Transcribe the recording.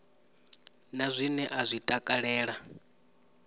na zwine a zwi takalela